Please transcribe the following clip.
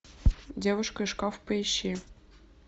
девушка и шкаф поищи